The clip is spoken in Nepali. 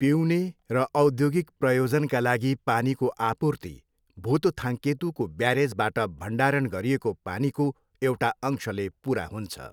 पिउने र औद्योगिक प्रयोजनका लागि पानीको आपूर्ति भुतथाङ्केतुको ब्यारेजबाट भण्डारण गरिएको पानीको एउटा अंशले पुरा हुन्छ।